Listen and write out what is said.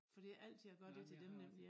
For det altid jeg gør det til dem nemlig ja